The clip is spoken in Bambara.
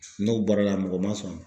N'o bɔra la mɔgɔ ma sɔn